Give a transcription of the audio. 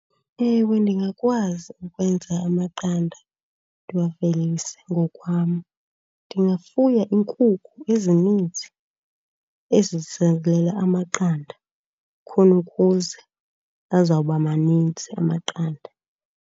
Ewe ndingakwazi ukwenza amaqanda ndiwavelise ngokwam. Ndingafuya iinkukhu ezininzi ezizalela amaqanda khona ukuze azawuba maninzi amaqanda.